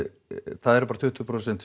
það eru bara tuttugu prósent